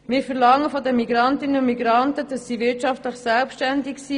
Wir verlangen von den Migrantinnen und Migranten, dass sie wirtschaftlich selbstständig sind.